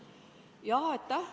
Aitäh!